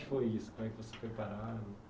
O que foi isso, né que você foi parada